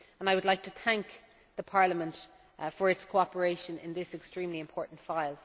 I would like to thank Parliament for its cooperation on this extremely important file.